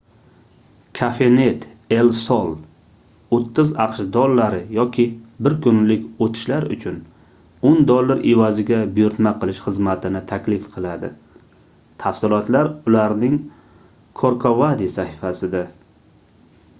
cafenet el sol 30 aqsh dollari yoki bir kunlik oʻtishlar uchun 10 dollar evaziga buyurtma qilish xizmatini taklif qiladi tafsilotlar ularning corcovadi sahifasida